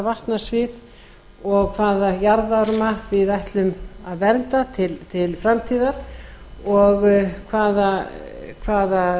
vatnasvið og hvaða jarðvarma við ætlum að vernda til framtíðar og hvaða